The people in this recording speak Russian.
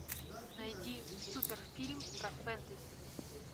найди супер фильм про фэнтези